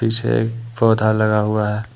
पीछे एक पौधा लगा हुआ है।